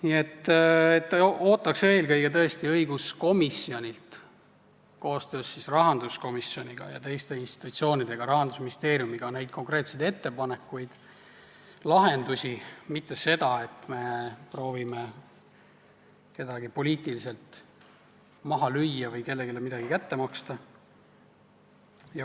Nii et ootaks eelkõige tõesti õiguskomisjonilt koostöös rahanduskomisjoniga ja teiste institutsioonidega, ka Rahandusministeeriumiga, konkreetseid ettepanekuid, lahendusi, mitte seda, et me proovime kedagi poliitiliselt maha lüüa või kellelegi kätte maksta.